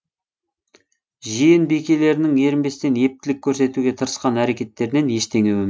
жиен бикелерінің ерінбестен ептілік көрсетуге тырысқан әрекеттерінен ештеңе өнбеді